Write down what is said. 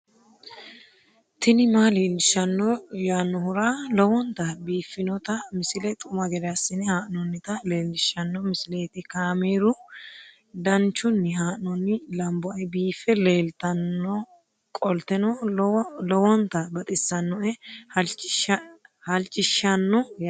tini maa leelishshanno yaannohura lowonta biiffanota misile xuma gede assine haa'noonnita leellishshanno misileeti kaameru danchunni haa'noonni lamboe biiffe leeeltannoqolten lowonta baxissannoe halchishshanno yaate